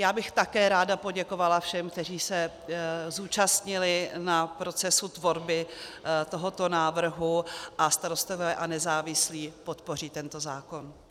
Já bych také ráda poděkovala všem, kteří se zúčastnili na procesu tvorby tohoto návrhu, a Starostové a nezávislí podpoří tento zákon.